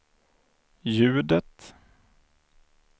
ljudet